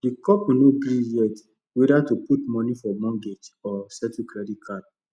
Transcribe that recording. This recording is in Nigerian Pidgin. the couple no gree yet whether to put money for mortgage or settle credit card